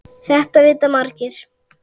Þetta vita margir.